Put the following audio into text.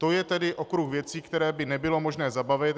To je tedy okruh věcí, které by nebylo možné zabavit.